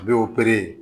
A bɛ